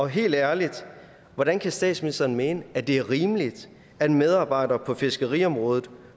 helt ærligt hvordan kan statsministeren mene at det er rimeligt at medarbejdere på fiskeriområdet